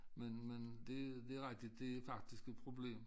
Men men det det rigtig det faktisk et problem